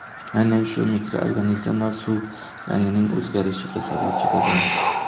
Aynan shu mikroorganizmlar suv rangining o‘zgarishiga sababchi bo‘lgan.